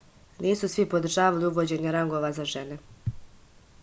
nisu svi podržavali uvođenje rangova za žene